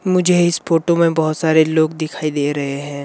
मुझे इस फोटो में बहुत सारे लोग दिखाई दे रहे हैं।